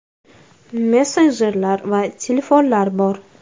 Messenjerlar va telefonlar bor.